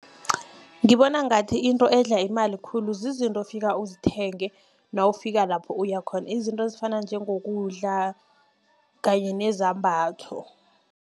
Ngibona ngathi into edla imali khulu zizinto ofika uzithenge, nawufika lapho uya khona. Izinto ezifana njengokudla kanye nezambatho.